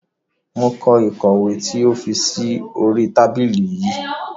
Mo kó ìkọ̀wé tí o fi sí oríi tábìlì yii